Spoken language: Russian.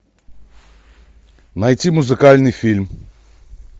найти музыкальный фильм